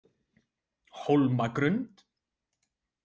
Hólmagrund